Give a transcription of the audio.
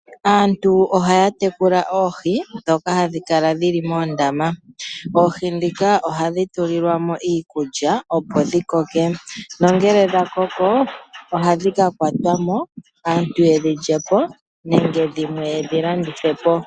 Aantu ohaya tekula oohi ndhoka hadhi kala dhili moondama. Oohi ndhika ohadhi tulilwa mo iikulya opo dhi koke nongele dha koko ohadhi ka kwatwa mo aantu yedhi lyepo nenge dhimwe yedhi landithe po.